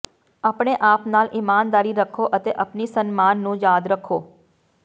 ਆਪਣੇ ਆਪ ਨਾਲ ਈਮਾਨਦਾਰੀ ਰੱਖੋ ਅਤੇ ਆਪਣੀ ਸਨਮਾਨ ਨੂੰ ਯਾਦ ਰੱਖੋ